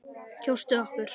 Kjóstu okkur.